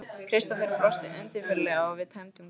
Kristófer brosti undirfurðulega og við tæmdum glösin.